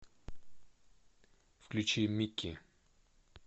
включи микки